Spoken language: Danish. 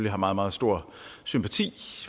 har meget meget stor sympati